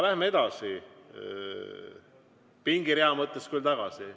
Läheme edasi, pingirea mõttes küll tagasi.